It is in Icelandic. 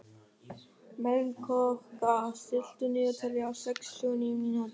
Melkorka, stilltu niðurteljara á sextíu og níu mínútur.